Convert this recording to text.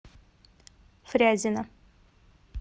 фрязино